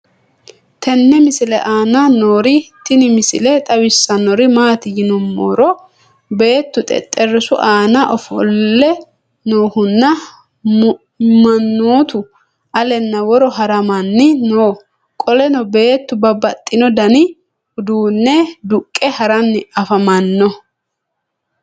tenne misile aana noorina tini misile xawissannori maati yinummoro beettu xexerissu aanna afoolle noohunna manoottu alenna woro harammanni noo. qolenno beettu babaxxino danni uudunne duqqe haranni affammanno.